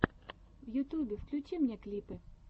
в ютьюбе включи мне клипы